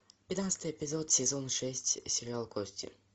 пятнадцатый эпизод сезон шесть сериал кости